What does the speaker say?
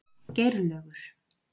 Geirlaugur